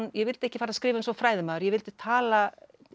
ég vildi ekki skrifa eins og fræðimaður ég vildi tala